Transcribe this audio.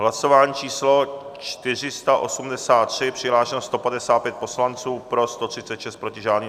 Hlasování číslo 483, přihlášeno 155 poslanců, pro 136, proti žádný.